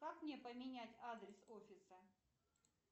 как мне поменять адрес офиса